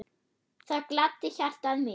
Það gladdi hjartað mitt.